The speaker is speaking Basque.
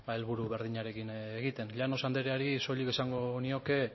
helburu berdinarekin egiten llanos andreari soilik esango nioke